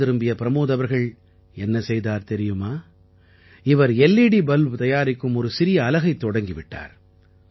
வீடு திரும்பிய ப்ரமோத் அவர்கள் என்ன செய்தார் தெரியுமா இவர் எல்இடி பல்ப் தயாரிக்கும் ஒரு சிறிய அலகைத் தொடங்கி விட்டார்